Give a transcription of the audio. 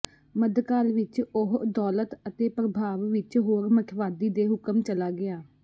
ਮੱਧਕਾਲ ਵਿਚ ਉਹ ਦੌਲਤ ਅਤੇ ਪ੍ਰਭਾਵ ਵਿਚ ਹੋਰ ਮੱਠਵਾਦੀ ਦੇ ਹੁਕਮ ਚਲਾ ਗਿਆ